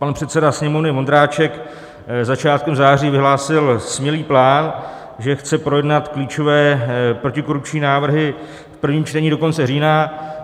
Pan předseda Sněmovny Vondráček začátkem září vyhlásil smělý plán, že chce projednat klíčové protikorupční návrhy v prvním čtení do konce října.